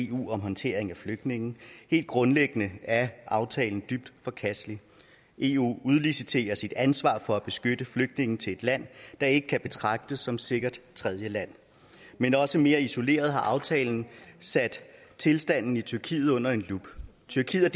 eu om håndtering af flygtninge helt grundlæggende er aftalen dybt forkastelig eu udliciterer sit ansvar for at beskytte flygtningene til et land der ikke kan betragtes som sikkert tredjeland men også mere isoleret har aftalen sat tilstanden i tyrkiet under lup tyrkiet